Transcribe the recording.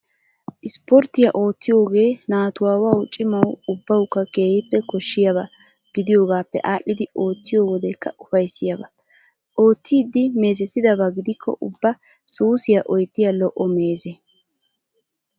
Ispportiyaa oottiyoogee naatuwawu cimawu ubbawukka keehippe koshiyaaba gidiyoogaappe aadhdhidi ootiiyoo wodekka ufayissiyaaba. Oottidi meezetidaba gidikko ubba suusiyaa oyittiyaa lo'o meeze.